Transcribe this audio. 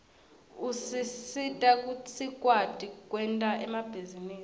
usita sikwati kwenta emabhizinisi